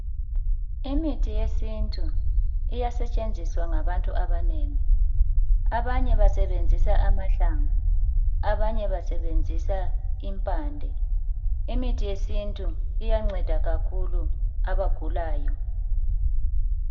imithi yesintu iyasetshenziswa ngabantu abanengi abanye basebenzisa amahlamvu abanye basebenzisa impande imithi yesintu iyanceda kakhulu abagulayo